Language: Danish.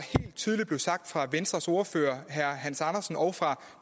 tydeligt blev sagt fra venstres ordfører herre hans andersen og fra